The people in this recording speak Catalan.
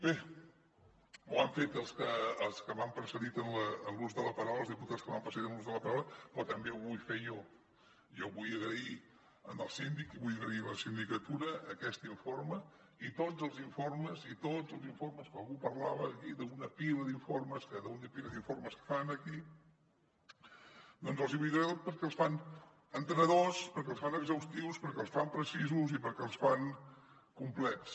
bé ho han fet els que els que m’han precedit en l’ús de la paraula els diputats que m’han precedit en l’ús de la paraula però també ho vull fer jo jo vull agrair al síndic i vull agrair a la sindicatura aquest informe i tots els informes i tots els informes que algú parlava aquí d’una pila d’informes d’una pila d’informes que fan aquí doncs els hi vull agrair perquè els fan entenedors perquè els fan exhaustius perquè els fan precisos i perquè els fan complets